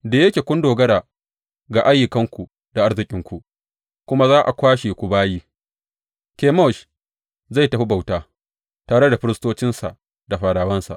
Da yake kun dogara ga ayyukanku da arzikinku, ku ma za a kwashe ku bayi, Kemosh zai tafi bauta, tare da firistocinsa da fadawansa.